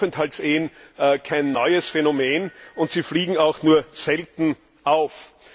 Aufenthaltsehen kein neues Phänomen und sie fliegen auch nur selten auf.